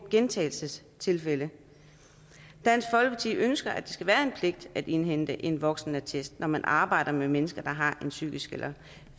gentagelsestilfælde dansk folkeparti ønsker at det skal være en pligt at indhente en voksenattest når man arbejder med mennesker der har en psykisk eller